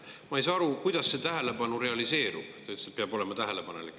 Aga ma ei saa aru, kuidas see tähelepanu realiseerub – te ütlesite, et peab olema tähelepanelik.